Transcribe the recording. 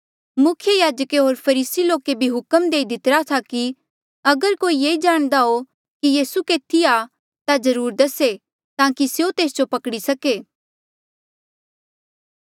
मुख्य याजके होर फरीसी लोके भी हुक्म देई दीतिरा था कि अगर कोई ये जाणदा हो कि यीसू केथी आ ता जरूर दसे ताकि स्यों तेस जो पकड़ी सके